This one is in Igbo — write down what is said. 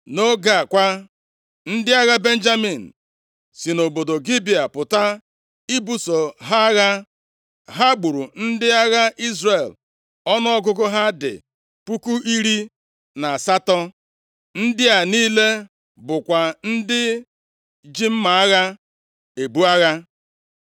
Nʼoge a kwa, ndị agha Benjamin si nʼobodo Gibea pụta ibuso ha agha. Ha gburu ndị agha Izrel ọnụọgụgụ ha dị puku iri na asatọ. Ndị a niile bụkwa ndị ji mma agha ebu agha.